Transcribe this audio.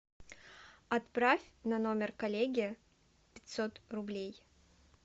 отправь на номер коллеги пятьсот рублей